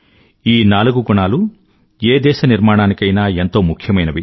ఈ నాలుగు గుణాలూ ఏ దేశ నిర్మాణానికైనా ఎంతో ముఖ్యమైనవి